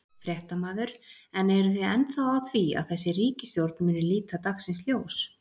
Fréttamaður: En eru þið ennþá á því að þessi ríkisstjórn muni líta dagsins ljós?